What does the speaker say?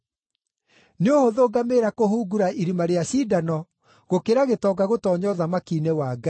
Nĩ ũhũthũ ngamĩĩra kũhungura irima rĩa cindano gũkĩra gĩtonga gũtoonya ũthamaki-inĩ wa Ngai.”